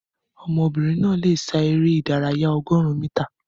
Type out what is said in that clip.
Ọmọbìnrin náà lè sá eré ìdárayá ọgọrun mítà